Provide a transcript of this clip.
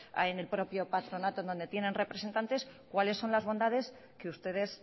en el propio patronato donde tienen representantes cuáles son las bondades que ustedes